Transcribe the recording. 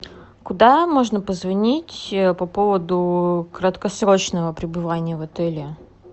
куда можно позвонить по поводу краткосрочного пребывания в отеле